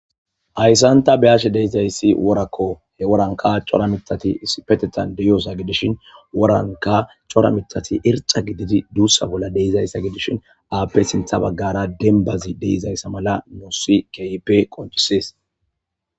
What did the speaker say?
Haysan ta be'ashe dizayssi worako he woranka cora mithati issipetetan de'ioysa gidishin woranka cora miththati erxxa gididi duusa bola de'izaysa gidishin pude sintha bagara dembazi de'izaysa mala nuusi kehipe qonccises.